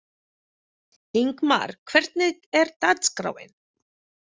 Ingmar, hvernig er dagskráin?